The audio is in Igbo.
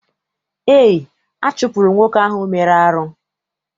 Eé, a chụpụrụ nwoke ahụ mere arụ.